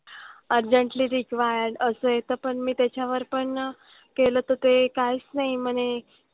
Urgently required असं येतं पण मी त्याच्यावर पण केलं तर ते काहीच नाही म्हणे.